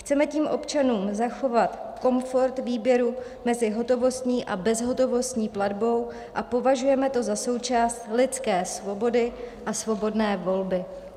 Chceme tím občanům zachovat komfort výběru mezi hotovostní a bezhotovostní platbou a považujeme to za součást lidské svobody a svobodné volby.